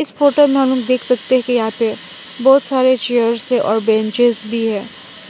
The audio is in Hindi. इस फोटो में हम देख सकते हैं कि यहां पे बहोत सारे चेयर्स है और बेंचेस भी है